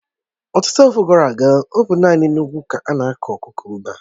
Ọtụtụ afọ gara aga, ọ bụ naanị n'ugwu ka ánà-akụ kukumba